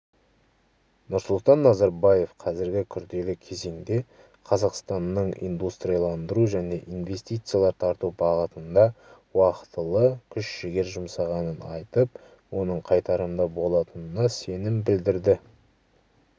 нұрсұлтан назарбаев қазіргі күрделі кезеңде қазақстанның индустрияландыру және инвестициялар тарту бағытында уақтылы күш-жігер жұмсағанын айтып оның қайтарымды болатынына сенім білдірді